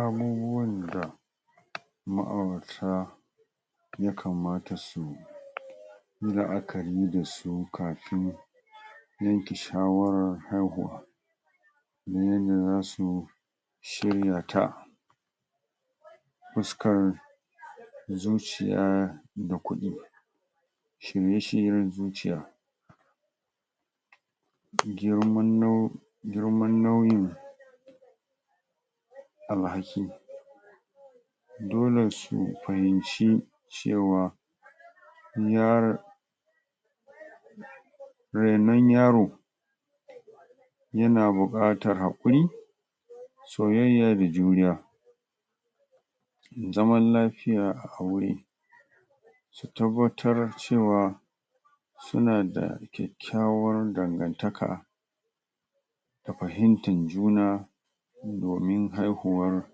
Abubuwan da ma'aurata ya kamata su yi la'akari dasu kapin yanke shawarar haihuwa na yanda zasu shiryata fuskar da zuciyar da kuɗin shirye-shiryen zuciya girman nau girman nauyin al haki dole su pahimci cewa in yaran raino yaro yana buƙatar haƙuri soyayya da juriya zaman lafiya a aure su tabbatar cewa suna da kyakkyawar dangantaka da fahimtar juna gurin haihuwar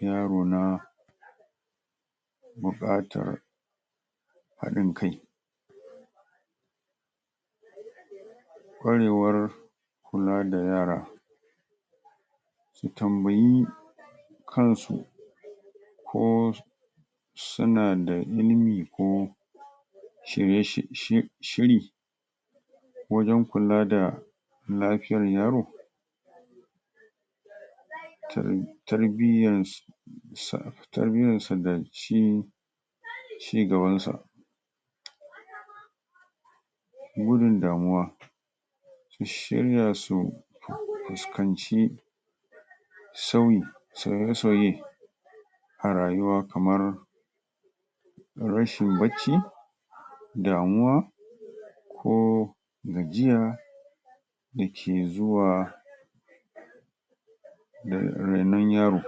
yaro na buƙatar hin kaiaɗ ƙwarewar kula da yara su tambayi kansu ko suna da ilimi ko um shiri wajan kula da lafiyar yaro? um tarbiyan sa tarbiyan sa da shi cigaban sa gudun damuwa su shirya su um fuskanci sauyi sauye-sauye a rayuwa kamar rashin bacci damuwa ko gajiya dake zuwa da rainon yaro.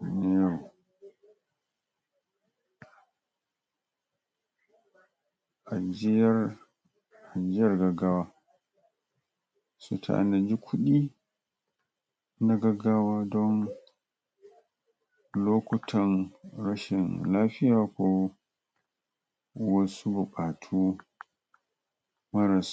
rainon yaro ajiyar ajiyar gaggawa su tanadi kuɗi na gaggawa don lokutan rashin lafiya ko wasu buƙatu maras